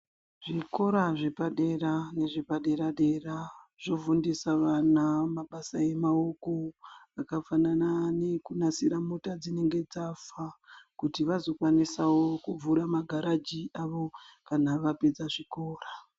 Zvikora zvepadera nezvepadera zvofundisa vana mabasa emaoko yakafanana nekunasira mota dzinenge dzafa kuti vazokwanisawokuvhura magaraji avo kana vapedza zvikora.